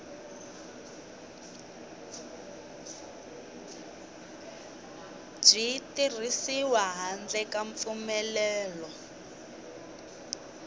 byi tirhisiwi handle ka mpfumelelo